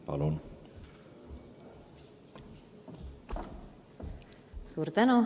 Palun!